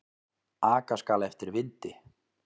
Aka skal eftir vindi.